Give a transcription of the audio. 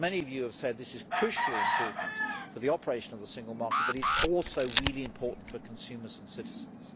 As many of you have said, this is crucially important for the operation of the single market, and it is also really important for consumers and citizens.